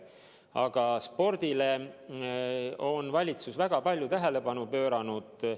Aga spordile on valitsus väga palju tähelepanu pööranud.